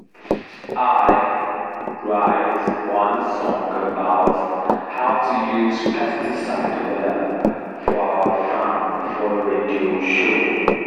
i i write one song about how to use pesticide well for our farm for radio show